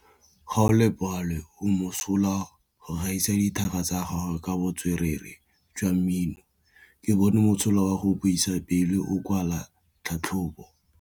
Gaolebalwe o mosola go gaisa dithaka tsa gagwe ka botswerere jwa mmino. Ke bone mosola wa go buisa pele o kwala tlhatlhobô.